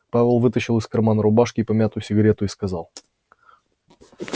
пауэлл вытащил из кармана рубашки помятую сигарету и сказал